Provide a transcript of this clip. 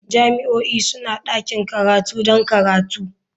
Jami'o'i suna da ɗakin karatu don karatu.